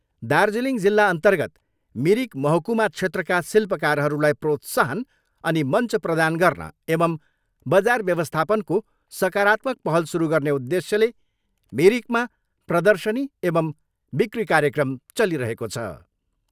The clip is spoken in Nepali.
दार्जिलिङ जिल्ला अर्न्तगत मिरिक महकुमा क्षेत्रका शिल्पकारहरूलाई प्रोत्साहन अनि मञ्च प्रदान गर्न एवम् बजार व्यवस्थापनको सकारात्मक पहल सुरु गर्ने उद्धेश्यले मिरिकमा प्रदशनी एवम् बिकी कार्यक्रम चलिरहेको छ।